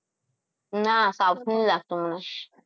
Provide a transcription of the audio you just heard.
ના south નું નહીં લાગતું મને